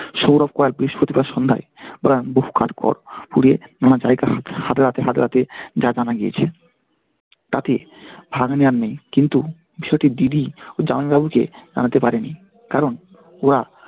সৌরভ বৃহস্পতিবার সন্ধ্যায় বহু কাঠ খড় পুড়িয়ে নানা জায়গা হাতড়াতে হাতড়াতে যা জানা গিয়েছে। তাতে ভাগ্নে আর নেই কিন্তু দিদি ওর জামাইবাবুকে জানাতে পারেনি, কারণ ওরা